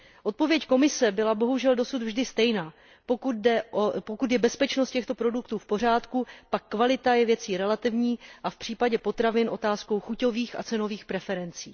Odpověď Komise byla bohužel dosud vždy stejná pokud je bezpečnost těchto produktů v pořádku, pak kvalita je věcí relativní a v případě potravin otázkou chuťových a cenových preferencí.